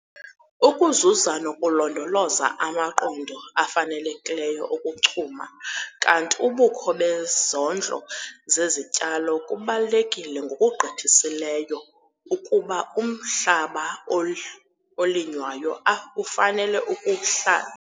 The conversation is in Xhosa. Ukuzuza nokulondoloza amaqondo afanelekileyo okuchuma, kanti ubukho bezondlo zezityalo kubalulekile ngokugqithisileyo ukuba umhlaba olinywayo ufanele ukuhlala.